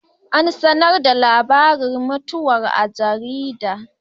An sanar da labarin mutuwar a jarida.